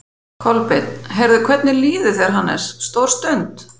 Kolbeinn: Heyrðu, hvernig líður þér, Hannes, stór stund?